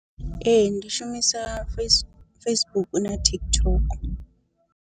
Ee ndi shumisa face Facebook na TikTok.